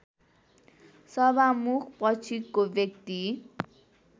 सभामुख पछिको व्यक्ति